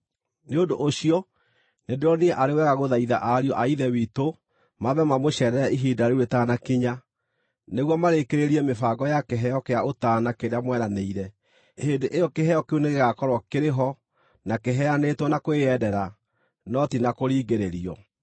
Nĩ ũndũ ũcio, nĩndĩronire arĩ wega gũthaitha ariũ a Ithe witũ maambe mamũceerere ihinda rĩu rĩtanakinya, nĩguo marĩkĩrĩrie mĩbango ya kĩheo kĩa ũtaana kĩrĩa mweranĩire. Hĩndĩ ĩyo kĩheo kĩu nĩgĩgakorwo kĩrĩ ho, na kĩheanĩtwo na kwĩyendera, no ti na kũringĩrĩrio.